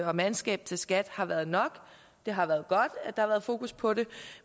og mandskab til skat har været nok det har været godt at der har været fokus på det